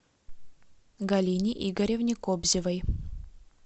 галине игоревне кобзевой